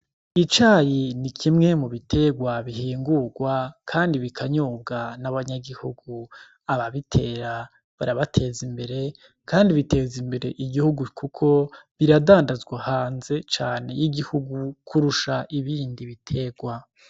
Icayi ni kimwe mu biterwa bihingurwa kandi bikanyobwa n’abanyagihugu. Ababitera barabateza imbere kandi biteza imbere igihugu kuko biradandazwa hanze cane y’igihugu kurusha ibindi biterwa.